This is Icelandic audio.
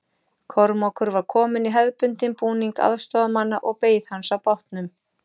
Kormákur var kominn í hefðbundinn búning aðstoðarmanna og beið hans á bátnum.